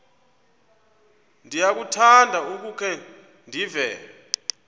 ndiyakuthanda ukukhe ndive